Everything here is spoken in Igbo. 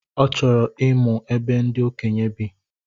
Ọ chọrọ ịmụ ebe ndi okenye bi